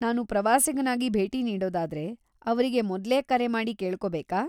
ನಾನು ಪ್ರವಾಸಿಗನಾಗಿ ಭೇಟಿ ನೀಡೋದಾದ್ರೆ, ಅವ್ರಿಗೆ ಮೊದ್ಲೇ ಕರೆ ಮಾಡಿ ಕೇಳ್ಕೋಬೇಕಾ?